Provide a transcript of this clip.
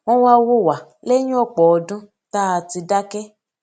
wón wá wò wá léyìn òpò ọdún tá a ti dáké